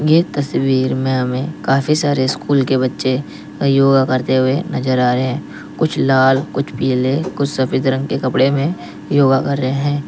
ये तस्वीर में हमें काफ़ी सारे स्कूल के बच्चे योगा करते हुए नजर आ रहे हैं कुछ लाल कुछ पीले कुछ सफ़ेद रंग के कपड़े में योगा कर रहे हैं।